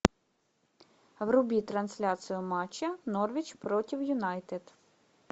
вруби трансляцию матча норвич против юнайтед